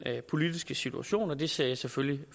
politiske situation og det ser jeg selvfølgelig